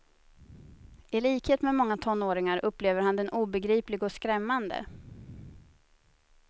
I likhet med många tonåringar upplever han den obegriplig och skrämmande.